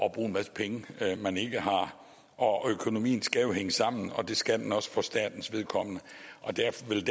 at bruge en masse penge man ikke har og økonomien skal jo hænge sammen og det skal den også for statens vedkommende derfor vil